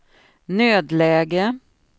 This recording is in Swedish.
nödläge